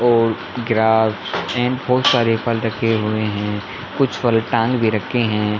और grapes and बहुत सारे फल रखे हुए है कुछ फल टांग भी रखे है ।